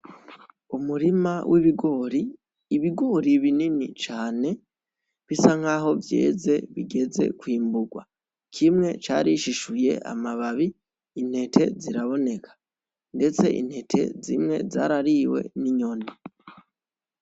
Umurima w'ibigori. Ibigori binini cane bisa nkaho vyeze bigeze kwimburwa, kimwe carishishuye amababi intete ziraboneka ndetse intete zimwe zarariwe n'inyoni